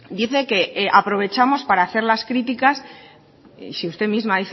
dice que aprovechamos para hacer las críticas si usted misma